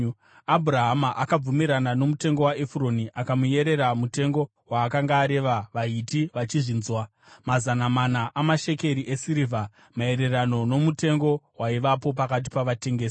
Abhurahama akabvumirana nomutengo waEfuroni akamuyerera mutengo waakanga areva vaHiti vachizvinzwa; mazana mana amashekeri esirivha, maererano nomutengo waivapo pakati pavatengesi.